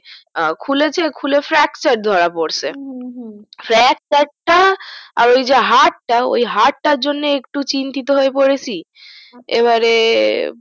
খুলেছে খুলে fracture ধরা পড়েছে হুম হুম fracture টা আর ওই যে হাতটা ওই হাতটার জন্য একটু চিন্তিতো হয়ে পোরেসি আচ্ছা এবারে